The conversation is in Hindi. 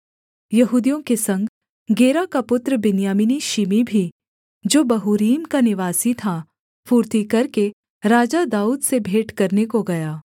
यहूदियों के संग गेरा का पुत्र बिन्यामीनी शिमी भी जो बहूरीम का निवासी था फुर्ती करके राजा दाऊद से भेंट करने को गया